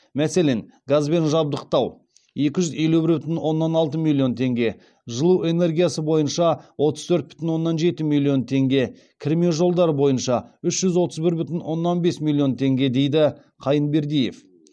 мәселен газбен жабдықтау екі жұз елу бір бүтін оннан алты миллион теңге жылу энергиясы бойынша отыз төрт бүтін оннан жеті миллион теңге кірме жолдар бойынша үш жүз отыз бір бүтін оннан бес миллион теңге дейді қайынбердиев